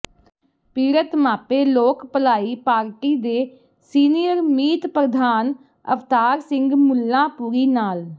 ਪੀੜਤ ਮਾਪੇ ਲੋਕ ਭਲਾਈ ਪਾਰਟੀ ਦੇ ਸੀਨੀਅਰ ਮੀਤ ਪ੍ਰਧਾਨ ਅਵਤਾਰ ਸਿੰਘ ਮੁੱਲਾਂਪੁਰੀ ਨਾਲ